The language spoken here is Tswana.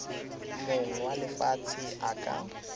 mong wa lefatshe a ka